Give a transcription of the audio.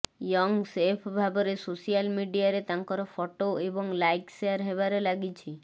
young chef ଭାବରେ social ମିଡିଆରେ ତାଙ୍କର ଫଟୋ ଏବଂ ଲାଇକ୍ ସେୟାର ହେବାରେ ଲାଗିଛି